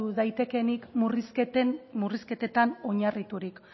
daitekeenik murrizketetan oinarriturik